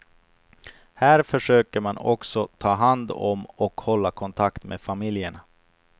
Här försöker man också ta hand om och hålla kontakt med familjerna.